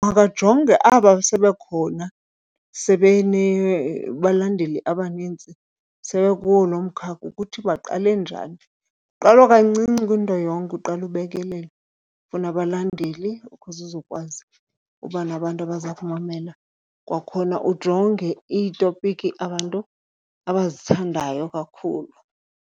Makajonge aba sebekhona sebenabalandeli abanintsi, sebekuwo lo mkakha ukuthi baqale njani. Kuqalwa kancinci kwinto yonke, uqala ubekelele ufuna abalandeli ukuze uzokwazi uba nabantu abaza kumamela. Kwakhona ujonge iitopiki abantu abazithandayo kakhulu.